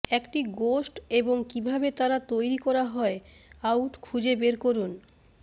একটি গোস্ট এবং কিভাবে তারা তৈরি করা হয় আউট খুঁজে বের করুন